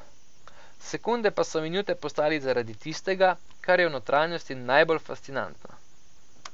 Sekunde pa so minute postale zaradi tistega, kar je v notranjosti najbolj fascinantno.